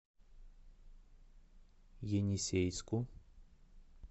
енисейску